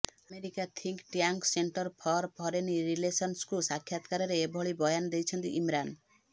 America think tank centre for foreign ରିଲେସନ୍ସକୁ ସାକ୍ଷାତକାରରେ ଏଭଳି ବୟାନ ଦେଇଛନ୍ତି ଇମ୍ରାନ